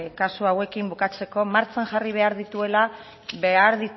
kasu hauekin bukatzeko martxan jarri behar dituela behar